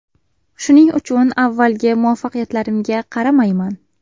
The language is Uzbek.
Shuning uchun avvalgi muvaffaqiyatlarimga qaramayman.